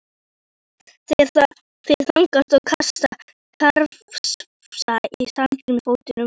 Þeir þagna og krafsa í sandinn með fótunum.